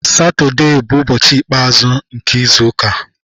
Satọdee bụ ụbọchị ikpe azụ n'izu ụka.